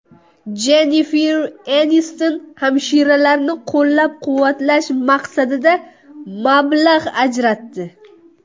Jennifer Eniston hamshiralarni qo‘llab-quvvatlash maqsadida mablag‘ ajratdi.